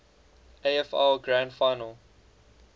afl grand final